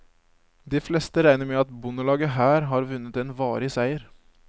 De fleste regner med at bondelaget her har vunnet en varig seier.